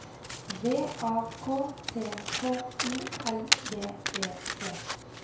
V A K T H O L D E T